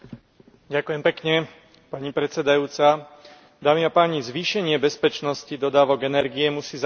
Zvýšenie bezpečnosti dodávok energie musí zahŕňať aj výraznejšiu podporu obnoviteľných zdrojov energií.